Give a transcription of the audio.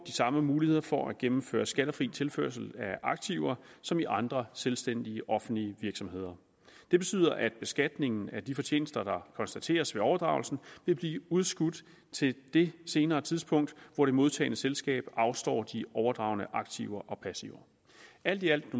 samme muligheder for at gennemføre skattefri tilførsel af aktiver som i andre selvstændige offentlige virksomheder det betyder at beskatningen af de fortjenester der konstateres ved overdragelsen vil blive udskudt til det senere tidspunkt hvor det modtagende selskab afstår de overdragne aktiver og passiver alt i alt